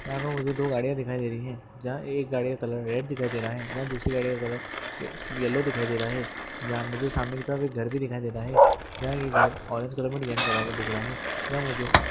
यहाँ पर मुझे दो गाड़ियां दिखाई दे रही हैजहां एक गाड़ी का कलर रेड दिखाई दे रहा है जहां दूसरी गाड़ी का कलर येल्लो दिखाई दे रहा है जहां मुझे सामने की तरह घर भी दिखाई दे रहा है जहाँ की घर ऑरेंज कलर में डिज़ाइन किया हुआ दिख रहा हैयहाँ मुझे--